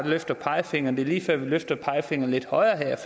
løfte pegefingeren vil jeg at vi løfter pegefingeren lidt højere